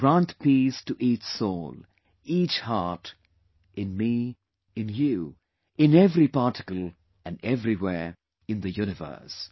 Grant peace to each soul, each heart, in me, in you, in every particle and everywhere in the Universe